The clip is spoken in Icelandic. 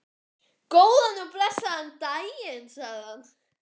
Góðan og blessaðan daginn, sagði hann.